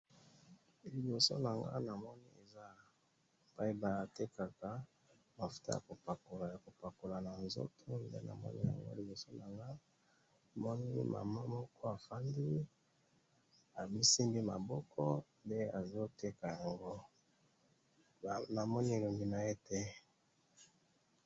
Liboso nangayi namoni, eza place batekaka mafuta yakopakola, yakopakola nanzoto, nde namoni yango liboso nanga, namoni mama moko avandi, amisimbi maboko nde azoteka ango, namoni elongi naye te.